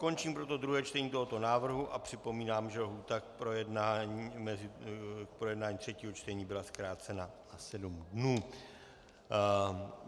Končím proto druhé čtení tohoto návrhu a připomínám, že lhůta k projednání třetího čtení byla zkrácena na sedm dnů.